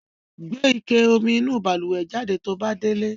Gbe ike omi inú balùwẹ̀ jáde to bá délé.